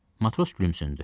Matros gülümsündü.